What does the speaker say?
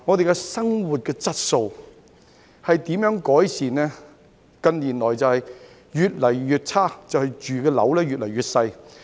近年生活質素越來越差，因為居住的單位越來越小。